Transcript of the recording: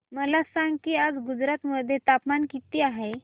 मला सांगा की आज गुजरात मध्ये तापमान किता आहे